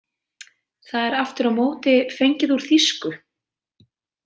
Það er aftur á móti fengið úr þýsku.